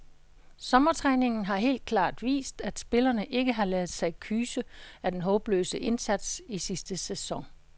Sommertræningen har helt klart vist, at spillerne ikke har ladet sig kyse af den håbløse indsats i sidste sæson.